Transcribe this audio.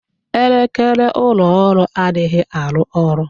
Elekere ụlọ ọrụ anaghị arụ ọrụ